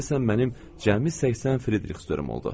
Deyəsən mənim cəmi 80 frixörüm oldu.